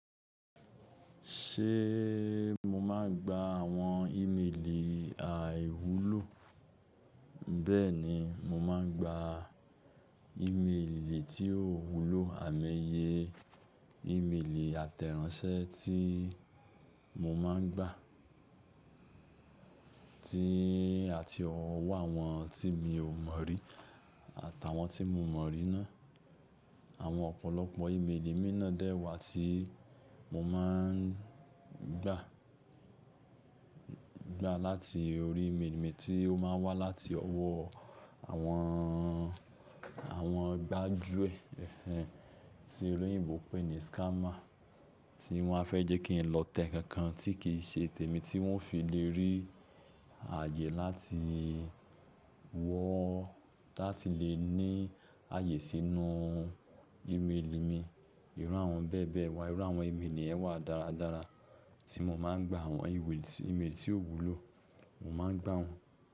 Ṣé mo máa gba àwọn ìméèlè àìwúlò? Bẹ́ẹ̀ni, mo máa ń gba ìméèlè tí ó wúlò àimoyẹ. Ìméèlè àtẹ̀ráńṣẹ́ tí mo máa ń gba tí àti ọwọ́ àwọn tí mi ò mọ̀ rí àtàwọn tí mo mọ̀ rí ná. Àwọn ọ̀pọ̀lọpọ̀ ìméèlè mi ná dẹ́wà tí mo máa ń gba, gba láti orí ìméèlè mi tí ó máa ń wá láti ọwọ́ àwọn, àwọn gbájúẹ̀ tí olóyìnbó pè ní scammer tí wọ́n fẹ́ jẹ́ kí n lọ tẹ ǹnkankan tí kì n ṣe tèmi tí wọ́n fi lè rí ààyè láti wọ́, láti lè ní ààyè sínú ìméèlè mi. Irú àwọn bẹ́ẹ̀ bẹ́ẹ̀ wà irú àwọn ímeèlì yẹn wà dáradára tí n mo máa gba àwọn ímeèlì tí ó wúlò mo máa gbá wọn.